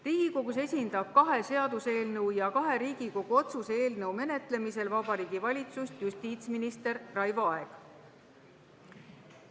Riigikogus esindab kahe seaduseelnõu ja kahe Riigikogu otsuse eelnõu menetlemisel Vabariigi Valitsust justiitsminister Raivo Aeg.